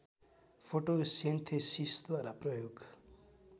फोटोसेन्थेसिसद्वारा प्रयोग